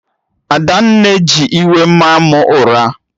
Adanne ji iwe maa mụ ụra